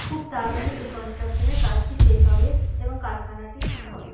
খুব তাড়াতাড়ি এই কনস্ট্রাকশন -এর কাজটি শেষ হবে এবং কারখানাটি শুরু হবে।